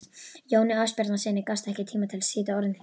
Jóni Ásbjarnarsyni gafst ekki tími til að sýta orðinn hlut.